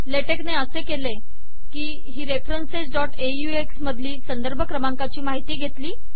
LaTeX ने असे केले की ही referencesऑक्स मधली संदर्भ क्रमांकाची माहिती घेतली